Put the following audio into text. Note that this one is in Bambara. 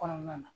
Kɔnɔna na